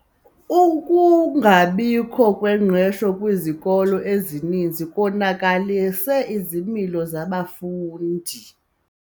Ukungabikho kwengqesho kwizikolo ezininzi konakalise izimilo zabafundi.